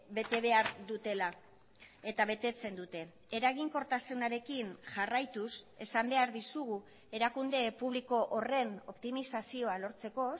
bete behar dutela eta betetzen dute eraginkortasunarekin jarraituz esan behar dizugu erakunde publiko horren optimizazioa lortzeko